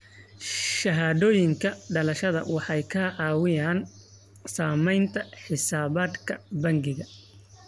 Shahaadooyinka dhalashada waxay ka caawiyaan samaynta xisaabaadka bangiga.